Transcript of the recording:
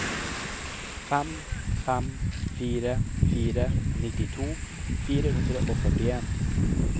fem fem fire fire nittito fire hundre og førtien